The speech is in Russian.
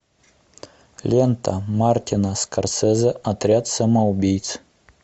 лента мартина скорсезе отряд самоубийц